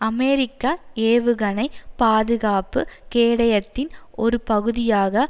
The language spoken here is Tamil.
அமெரிக்க ஏவுகணை பாதுகாப்பு கேடயத்தின் ஒரு பகுதியாக